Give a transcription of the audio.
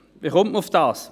Wie kommt man darauf?